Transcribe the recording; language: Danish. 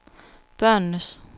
børnenes